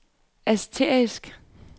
asterisk